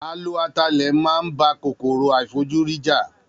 A lo atalẹ̀ máa ń bá kòkòrò àìfojúrí jà